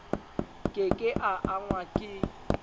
ke ke a angwa ke